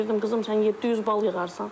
Deyirdim qızım, sən 700 bal yığarsan.